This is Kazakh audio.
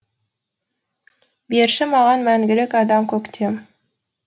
берші маған мәңгілік адам көктем